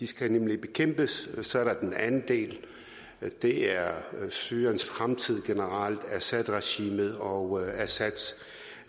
skal nemlig bekæmpes og så er der den anden del som er syriens fremtid generelt assadregimet og assads